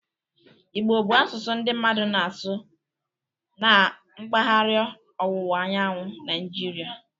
Igbo bụ asụsụ ndị mmadụ na-asụ na mpaghara ọwụwa anyanwụ Naijirial